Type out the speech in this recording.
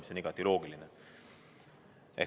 See on igati loogiline.